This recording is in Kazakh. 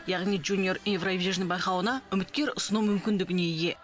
яғни жуниор еуровижн байқауына үміткер ұсыну мүмкіндігіне ие